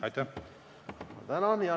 Tänan!